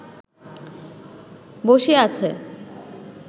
বসিয়া আছে